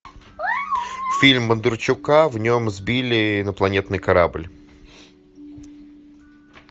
фильм бондарчука в нем сбили инопланетный корабль